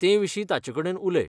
तेविशीं ताचेकडेन उलय.